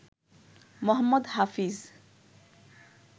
Mohammad Hafeez